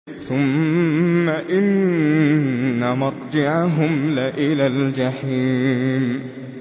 ثُمَّ إِنَّ مَرْجِعَهُمْ لَإِلَى الْجَحِيمِ